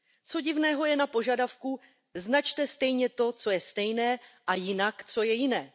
Co divného je na požadavku Značte stejně to, co je stejné, a jinak, co je jiné.